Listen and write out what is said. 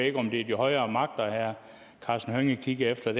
ikke om det er de højere magter herre karsten hønge kigger efter